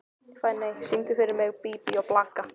Finney, syngdu fyrir mig „Bí bí og blaka“.